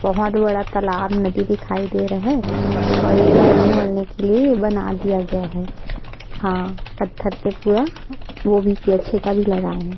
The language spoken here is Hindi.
बहोत बड़ा तलाब नदी दिखाई दे रहा है और ये चलने वलने के लिए बना दिया गए है है पत्थर से पूरा वो भी छेका भी लगाए है।